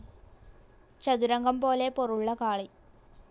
ചതുരംഗം പോലെ പൊറുള്ള കാളി.